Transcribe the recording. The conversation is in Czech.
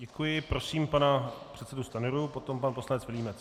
Děkuji, prosím pana předsedu Stanjuru, potom pan poslanec Vilímec.